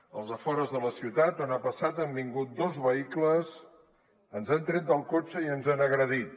als afores de la ciutat on ha passat han vingut dos vehicles ens han tret del cotxe i ens han agredit